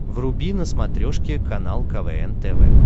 вруби на смотрешке канал квн тв